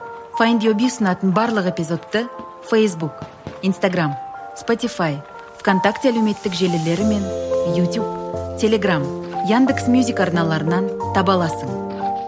файндюби ұсынатын барлық эпизодты фейсбук инстаграмм спотифай в контакте әлеуметтік желілері мен ютуб телеграмм яндекс мюзик арналарынан таба аласың